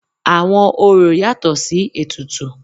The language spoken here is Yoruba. Àwọn orò yatọ̀ sí ètùtù.